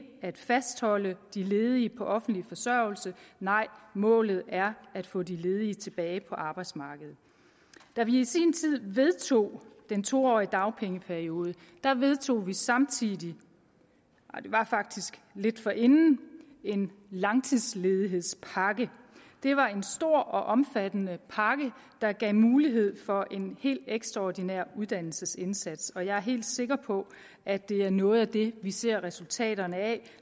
at fastholde de ledige på offentlig forsørgelse nej målet er at få de ledige tilbage på arbejdsmarkedet da vi i sin tid vedtog den to årige dagpengeperiode vedtog vi samtidig det var faktisk lidt forinden en langtidsledighedspakke det var en stor og omfattende pakke der gav mulighed for en helt ekstraordinær uddannelsesindsats jeg er helt sikker på at det er noget af det vi ser resultaterne af